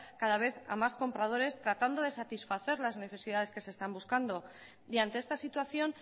cada vez a más compradores tratando de satisfacer las necesidades que se están buscando y ante esta situación